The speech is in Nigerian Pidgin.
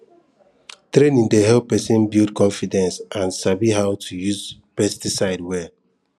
training dey help person build confidence and sabi how to use pesticide well